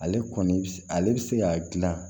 Ale kɔni bi ale bɛ se ka dilan